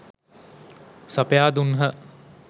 සපයා දුන්හ.